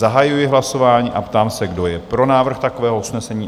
Zahajuji hlasování a ptám se, kdo je pro návrh takového usnesení?